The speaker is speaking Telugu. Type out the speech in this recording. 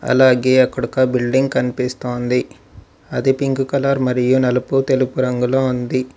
అలాగే అక్కడ ఒక బిల్డింగ్ కనిపిస్తోంది అది పింక్ కలర్ మరియు నలుపు తెలుగు రంగులో ఉంది.